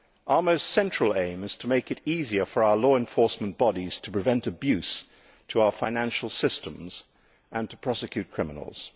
Our most central aim is to make it easier for our law enforcement bodies to prevent the abuse of our financial systems and to prosecute criminals.